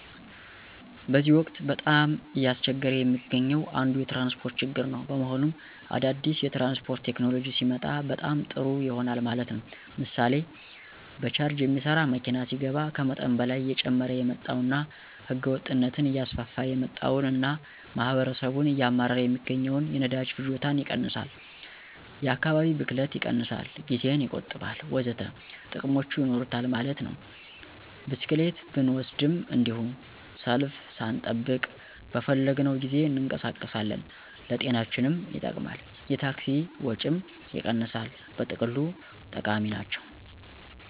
በዚህ ወቅት በጣም እያስቸገረ የሚገኘው አንዱ የትራንስፖርት ችግር ነው። በመሆኑም አዳዲስ የትራንስፖርት ቴክኖሎጂ ሲመጣ በጣም ጦሩ ይሆናል ማለት ነው። ምሥሌ በቻርጅ ሚሠራ መኪና ሲገባ ከመጠን በላይ እየጨመረ የመጣውንና ህገወጥነትን እያስፋፋ የመጣውን እና ማህበረሠቡን እያማረረ ሚገኘውን የነዳጅ ፍጆታን ይቀንሣል፣ የ ከካባቢ ብክለትን ይቀንሣል፣ ጊዜን ይቆጥባል።........ወዘተ ጥቅሞች ይኖሩታል ማለት ነው። ብስክሌትን ብንወሰድም እንዱሁ፦ ሰልፍ ሣንጠብቅ በፈለግነው ጊዜ እንቀሣቀሳለን፣ ለጤናችንም ይጠቅማል፣ የታክሲ ወጭንም ይቀንሣል በጥቅሉ ጠቃሚ ናቸው።